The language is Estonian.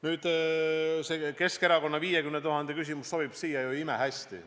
Nüüd, see Keskerakonna 50 000 euro küsimus sobib siia imehästi.